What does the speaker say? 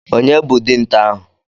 Ònye bụ dinta ahụ?